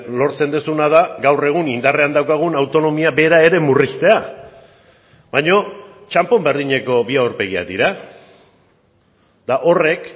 lortzen duzuna da gaur egun indarrean daukagun autonomia bera ere murriztea baino txanpon berdineko bi aurpegiak dira eta horrek